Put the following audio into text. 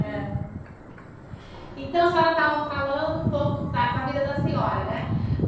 É então, a senhora estava falando um pouco da da vida da senhora, né?